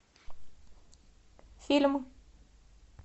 фильм